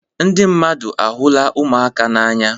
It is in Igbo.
Ndị mmadụ ahụla ụmụaka n'anya.